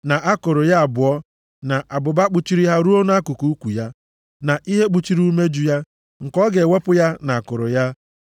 na akụrụ ya abụọ na abụba kpuchiri ha ruo nʼakụkụ ukwu ya, na ihe kpuchiri umeju ya, nke ọ ga-ewepụ ya na akụrụ ya,